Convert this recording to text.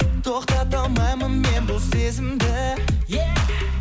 тоқтата алмаймын мен бұл сезімді е